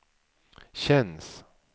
känns